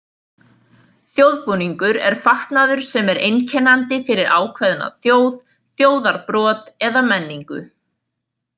Þjóðbúningur er fatnaður sem er einkennandi fyrir ákveðna þjóð, þjóðarbrot eða menningu.